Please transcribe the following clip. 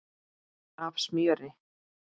af smjöri.